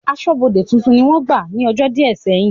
Aṣọ́bọdè tuntun ni wọ́n gbà ní ọjọ́ díẹ̀ sẹ́yìn